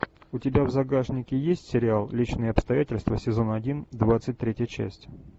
у тебя в загашнике есть сериал личные обстоятельства сезон один двадцать третья часть